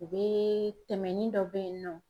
U bɛ tɛmɛnin dɔ bɛ yen nɔ